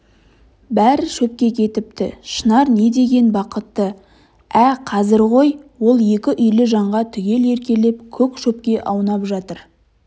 бәрі шепке кетіпті шынар не деген бақытты ә қазір ғой ол екі үйлі жанға түгел еркелеп көк шөпке аунап жатыр